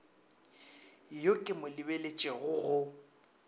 yo ke mo lebeletšego go